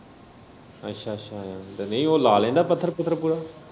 ਅੱਛਾ ਅੱਛਾ ਤੇ ਨਈ ਓ ਲਾ ਲੈਂਦਾ ਪੱਥਰ ਪੁਥਰ ਪੂਰਾ।